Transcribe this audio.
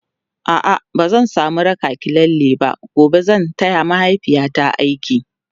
a'a bazan samu raki ki lalle ba gobe zan taya mahaifiyata aiki